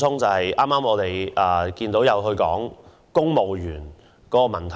剛才有議員談及公務員學院的問題。